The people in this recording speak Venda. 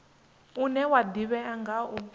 une wa ḓivhea nga u